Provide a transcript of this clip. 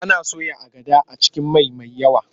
Ana soya agada a cikin mai mai yawa.